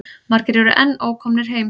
Margir eru enn ókomnir heim.